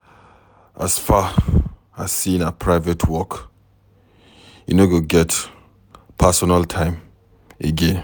As far as sey na private work, you no go get pasonal time again.